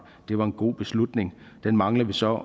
det var en god beslutning den mangler vi så